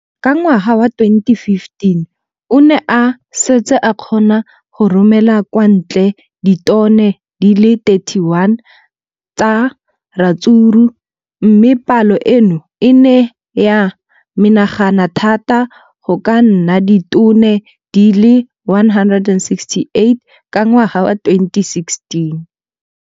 Ka ngwaga wa 2015, o ne a setse a kgona go romela kwa ntle ditone di le 31 tsa ratsuru mme palo eno e ne ya menagana thata go ka nna ditone di le 168 ka ngwaga wa 2016.